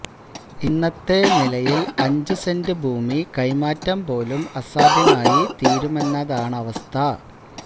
ഇന്നത്തെ നിലയില് അഞ്ച് സെന്റ് ഭൂമി കൈമാറ്റം പോലും അസാധ്യമായി തീരുമെന്നതാണവസ്ഥ